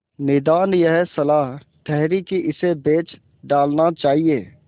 निदान यह सलाह ठहरी कि इसे बेच डालना चाहिए